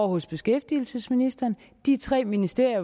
hos beskæftigelsesministeren de tre ministerier